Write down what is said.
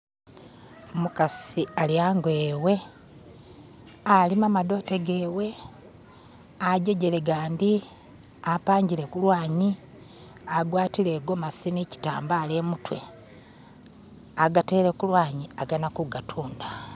Umukasi ali hango hewe alima madote gewe ajegele gandi apanjile kulwanyi agwatile igomasi ni chitambala imutwe agatele kulwanyi agana kugatunda